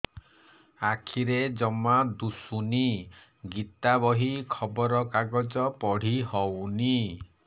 ଆଖିରେ ଜମା ଦୁଶୁନି ଗୀତା ବହି ଖବର କାଗଜ ପଢି ହଉନି